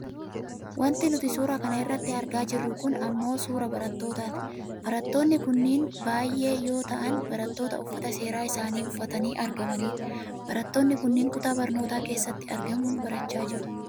Wanti nuti suuraa kana irratti argaa jirru kun ammoo suuraa barattootaati. Barattoonni kunniin baayyee yoo ta'an barattoota uffata seeraa isaanii uffatanii argamanidha. Barattoonni kunniin kutaa barnootaa keessatti argamuun barachaa jiru.